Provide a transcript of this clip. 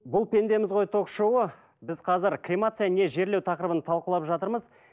бұл пендеміз ғой ток шоуы біз қазір кремация не жерлеу тақырыбын талқылап жатырмыз